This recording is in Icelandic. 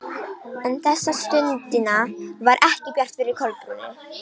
En þessa stundina var ekki bjart yfir Kolbrúnu.